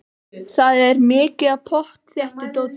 Það er mikið af pottþéttu dóti.